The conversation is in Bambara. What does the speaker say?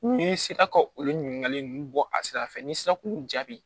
N'i sera ka olu ɲininkali ninnu bɔ a sira fɛ n'i sera k'u jaabi